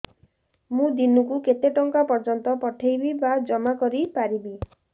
ମୁ ଦିନକୁ କେତେ ଟଙ୍କା ପର୍ଯ୍ୟନ୍ତ ପଠେଇ ବା ଜମା କରି ପାରିବି